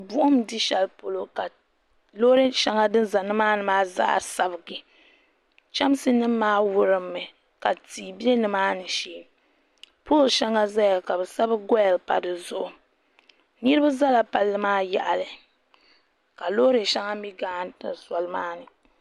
Buɣum n di sheli polo ka loori shɛŋa din za nimaani maa zaa sabigi chɛmsi nimaa mi wuɣi mi ka tia be nimaani shee pooli sheŋa zaya ka bɛ sabi goyil pa dizuɣu niriba zala palli yaɣali ka loori sheŋa mi gariti soli maa ni.